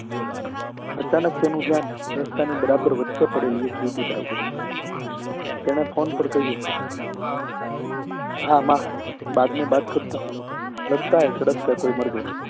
અચાનક તેનું ધ્યાન રસ્તા ની બરાબર વચે પડેલી એક યુવતી તરફ ગયું તેને ફોન પર કહ્યું હા માં બાદ મેં બાત કરતા હું લગતા હૈ સડક પર કોઈ મર ગયા